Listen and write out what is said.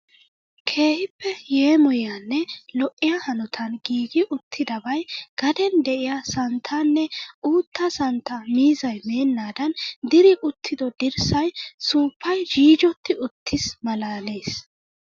Keehippe yeemoyiyanne lo'iya hanotan giiggi uttidabay gaden de'iya santtanne uuttaa santtaa miizzay meenaadan diri uttiddo dirssay suuppay jiijjoti uttiis malaalees.